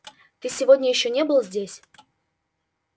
ты сегодня ещё не был здесь